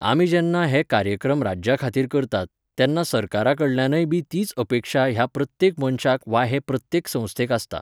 आमी जेन्ना हे कार्यक्रम राज्या खातीर करतात, तेन्ना सरकारा कडल्यानय बी तीच अपेक्षा ह्या प्रत्येक मनशाक वा हे प्रत्येक संस्थेक आसता.